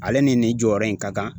Ale ni nin jɔyɔrɔ in ka kan.